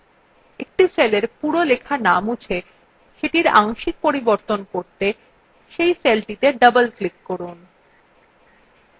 একটি সেলের পুরো বিষয়বস্তু in মুছে সেটির আংশিক পরিবর্তন করতে cell cellটিতে double click করুন